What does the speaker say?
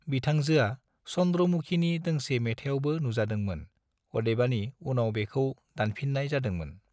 बिथांजोआ 'चंद्र मुखी' नि दोंसे मेथाइयावबो नुजादोंमोन, अदेबानि उनाव बेखौ दानफिननाय जादों मोन।